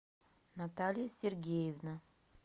наталья сергеевна